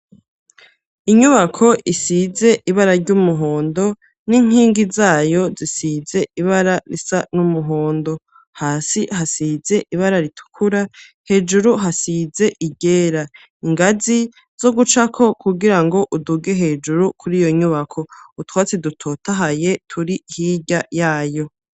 Inyubako isize ibara ry'umuhondo, n'inkingi zayo zisize ibara risa n'umuhondo; hasi hasize ibara ritukura, hejuru hasize iryera; ingazi zo gucako kugira ngo uduge hejuru kuri iyo nyubako, utwatsi dutotahaye turi hirya yayo.